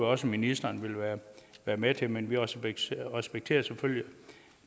også ministeren vil være med til men vi respekterer respekterer selvfølgelig